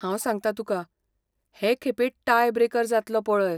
हांव सांगतां तुका, हे खेपे टाय ब्रेकर जातलो पळय.